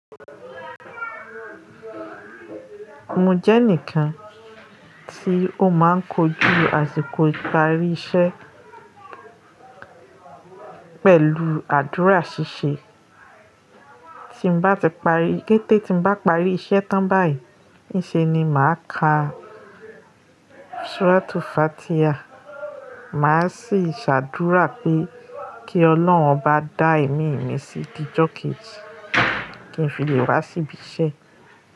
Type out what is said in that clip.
Mo jẹ́ ẹnìkan tí ó máa ń kojú àsìkò ìparí iṣẹ́ pẹ̀lú àdúrà ṣíṣe. Tí bá ti parí, kété tí bá parí iṣẹ́ tán báyìí, níṣe ni màá ka Suratu Fatiha. Màá sì ṣàdúrà pé kí Ọlọ́run bá dá ẹ̀mí mi sí ti Jọ́kẹ́ẹ̀jí kí n fi lè wá síbí iṣẹ́